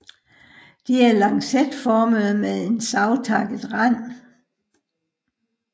De er lancetformede med savtakket rand